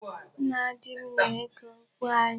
Nna di m na-eke okwu anyị.